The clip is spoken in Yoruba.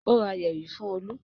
Ó ra yẹ̀rì fún Olú?